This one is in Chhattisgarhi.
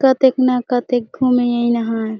कतेक न कतेक घूमे न हाए।